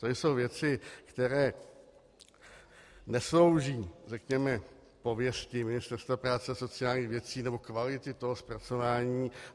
To jsou věci, které neslouží, řekněme, pověsti Ministerstva práce a sociálních věcí nebo kvality toho zpracování.